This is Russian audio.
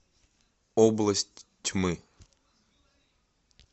область тьмы